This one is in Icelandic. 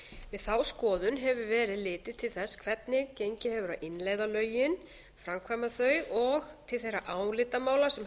við þá skoðun hefur verið litið til þess hvernig hefur gengið að innleiða lögin framkvæma og til þeirra álitamála sem